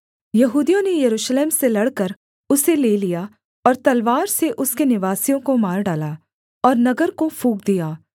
यहूदियों ने यरूशलेम से लड़कर उसे ले लिया और तलवार से उसके निवासियों को मार डाला और नगर को फूँक दिया